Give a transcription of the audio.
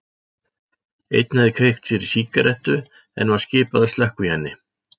Einn hafði kveikt sér í sígarettu en var skipað að slökkva í henni.